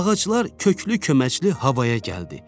Ağaclar köklü-köməkli havaya gəldi.